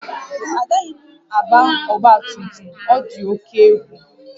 Agaghị m agba ọgba tum tum, ọ dị oke egwu